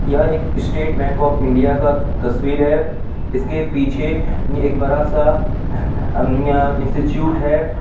यह एक state bank of India का तस्वीर है इसके पीछे एक बड़ा सा इंस्टिट्यूट है।